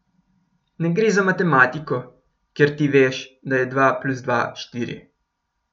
Ne gre za matematiko, kjer ti veš, da je dva plus dva štiri.